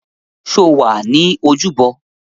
Sọ wà ní ojúbọ?